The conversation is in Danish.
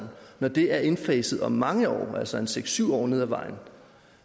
når det er indfaset om mange år altså seks syv år ned ad vejen